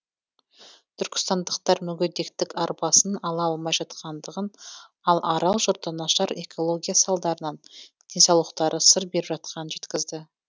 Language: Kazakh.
түркістандықтар мүгедектік арбасын ала алмай жатқандығын ал арал жұрты нашар экология салдарынан денсаулықтары сыр беріп жатқанын жеткізді